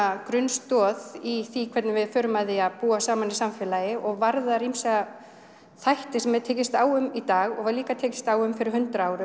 grunnstoð í því hvernig við förum að því að búa saman í samfélagi og varðar ýmsa þætti sem er tekist á um í dag og var líka tekist á um fyrir hundrað árum